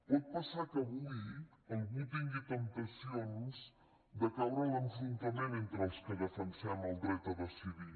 pot passar que avui algú tingui temptacions de caure en l’enfrontament entre els que defensem el dret a decidir